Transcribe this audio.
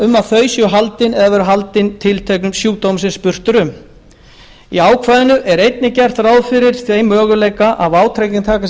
um að þau séu haldin eða hafi verið haldin tilteknum sjúkdómi sem spurt er um í ákvæðinu er einnig gert ráð fyrir þeim möguleika að vátryggingartaka sé